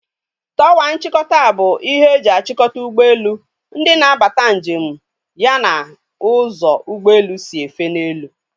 Tọwa nchịkọta bụ ihe e ji achikota ụgbọelu, ndị na-abata njem ya na ụzọ ụgbọelu si efe n'elu